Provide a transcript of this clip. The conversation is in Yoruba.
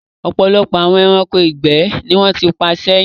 Ọ̀pọ̀lọpọ̀ àwọn ẹranko ìgbẹ́ ni wọ́n ti pa sẹ́yìn.